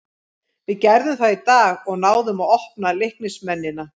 Við gerðum það í dag og náðum að opna Leiknismennina.